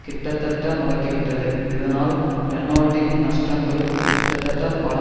கிட்டத்தட்ட முடக்கிவிட்டது இதனால் ரெனோல்ட்டின் நஷ்டங்கள் கிட்டத்தட்ட பல